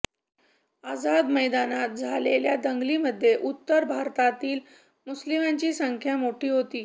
आझाद मैदानात झालेल्या दंगलीमध्ये उत्तर भारतातील मुस्लिमांची संख्या मोठी होती